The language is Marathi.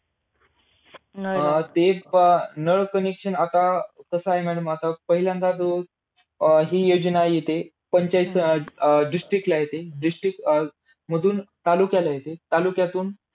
अं ते अं नळ connection आता कस आहे madam आता पहिल्यांदा जो हि योजना येते, पंचायत~ अं district ला येते, अं district मधून तालुक्याला येते, तालुक्यातून